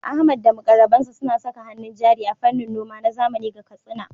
Ahmad da muƙarrabansa suna saka hannun jari a fannin noma na zamani ga Katsina.